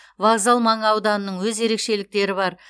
вокзал маңы ауданының өз ерекшеліктері бар